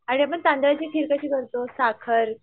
आणि आपण तांदळाची खीर कशी करतो साखर